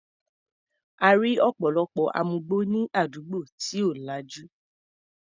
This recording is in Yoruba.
A rí ọ̀pọ̀lọpọ̀ amugbó ní àdúgbò tí ò lajú.